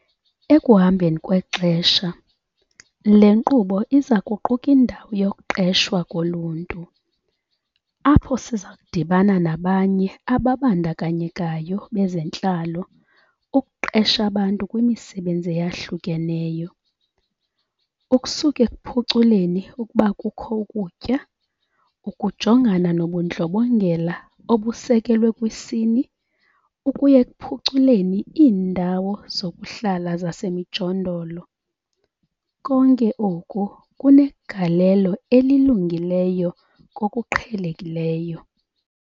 Ekuhambeni kwexesha, le nkqubo iza kuquka indawo 'yokuqeshwa koluntu', apho siza kudibana nabanye ababandakanyekayo bezentlalo ukuqesha abantu kwimisebenzi eyahlukeneyo - ukusuka ekuphuculeni ukuba kukho ukutya, ukujongana nobundlobongela obusekelwe kwisini ukuya ekuphuculeni iindawo zokuhlala zasemijondolo - konke oko kunegalelo elilungileyo kokuqhelekileyo.